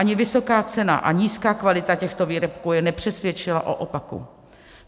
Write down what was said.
Ani vysoká cena a nízká kvalita těchto výrobků ji nepřesvědčila o opaku.